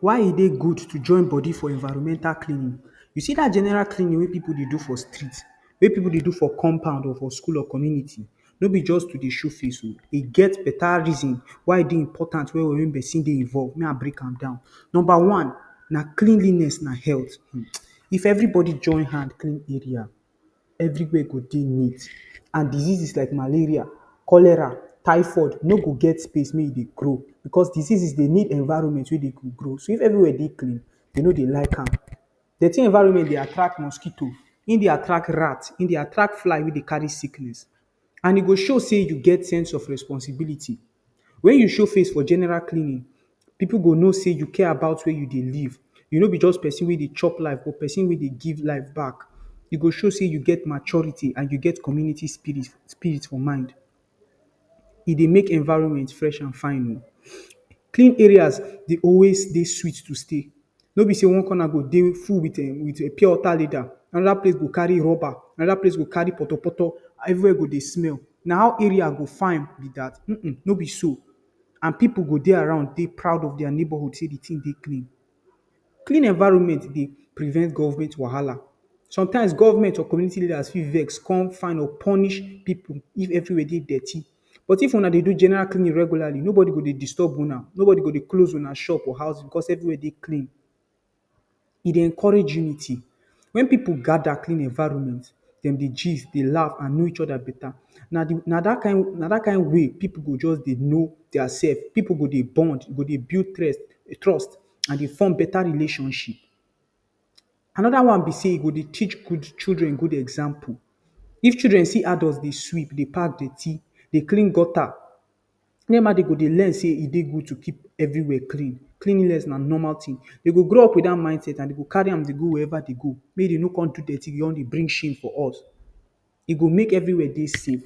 Why e dey good to join body for environmental cleanliness You see dat general cleanliness wey dem dey do for street? Wey pipu dey do for compound, or for school or community? No be just to dey show face oh! E get beta reason why e dey important make pesin dey involve. Make I break am down. Number one, cleanliness na health. If everybody join hand clean area, everywhere go dey neat and diseases like malaria, cholera, typhoid no go get space to grow. Because diseases dey need environment wey dem go grow grow, if everywhere dey clean, dem no dey like am. Dirty environment dey attract mosquito. E dey attract rat. E dey attract fly wey dey carry sickness. And e go show say you get sense of responsibility. When you show face for general cleaning, pipu go know say you care about where you dey live. You no be just pesin wey dey chop life, but pesin wey dey give life back. E go show say you get maturity and you get community spirit for mind. E dey make environment fresh and fine. Clean areas dey always dey sweet to stay. No be say one corner go dey, um! full with pure water leather. Another place go carry rubber. Another place go carry poto poto. Everywhere go dey smell. Na how area go fine be dat? Um! Um! No be so. And pipu go dey around dey proud of their neighborhood say the thing dey clean. Clean environment dey prevent government wahala. Sometimes government or community leaders fit vex come fine or punish pipu if everywhere dey dirty. But if una dey do general cleaning regularly, nobody go disturb una. Nobody go close una shop or house because everywhere dey clean. E dey encourage unity. When pipu gather clean environment, dem dey gist, dey laugh and know each other beta. Na dat kind way pipu go just dey know their self. Pipu go dey bond. E go dey build trust and dey form better relationship. Another be say, e go dey teach children good example. If children see adult dey sweep, dey pack dirty, dey clean gutter, dem go dey learn say e good to keep everywhere clean. Cleanliness na normal thing. Dem go grow up with dat mindset and dem go carry am go where dem dey go. Make dem no come dey dirty everywhere, come dey bring shame for us. E go make everywhere dey safe.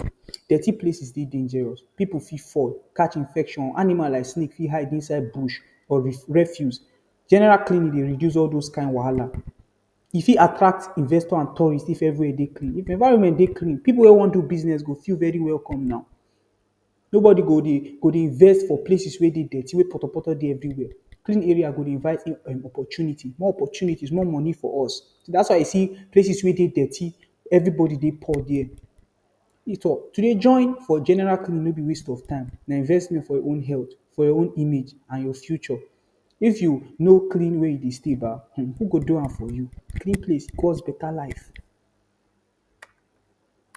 Dirty places dey dangerous. Pipu fit fall, catch infection. Animals like snakes fit hide inside bush or refuse. General cleaning dey reduce all those kin wahala. E fit attract investors and tourist if everywhere dey clean. If environment dey clean, pipu wey wan do business go feel very welcome now. Nobody go dey vex for places wey dirty, wey get poto poto everywhere. Clean area dey invite opportunity. More opportunities, more money for us. Dat na why you dey see places wey dirty, everybody dey poor there. To dey join for general cleaning no be waste of time. Na investment for your own health, your own image and your future. If you no clean where you dey stay, ba! who go do am for you? Clean place cause beta life.